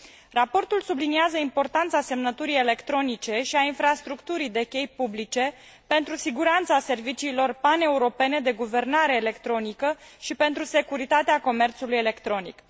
Raportul subliniază importanța semnăturii electronice și a infrastructurii de chei publice pentru siguranța serviciilor paneuropene de guvernare electronică și pentru securitatea comerțului electronic.